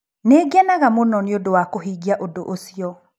Nĩ ngenaga mũno nĩ ũndũ wa kũhingia ũndũ ũcio.